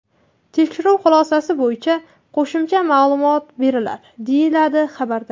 Tekshiruv xulosasi bo‘yicha qo‘shimcha ma’lumot beriladi”, deyiladi xabarda.